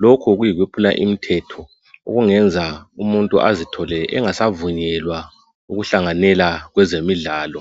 lokhu kuyikuphula imithetho okungenza umuntu azithole engasavunyelwa ukuhlanganela kwezemidlalo